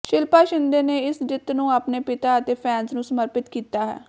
ਸ਼ਿਲਪਾ ਸ਼ਿੰਦੇ ਨੇ ਇਸ ਜਿੱਤ ਨੂੰ ਆਪਣੇ ਪਿਤਾ ਅਤੇ ਫੈਨਸ ਨੂੰ ਸਮਰਪਤ ਕੀਤਾ ਹੈ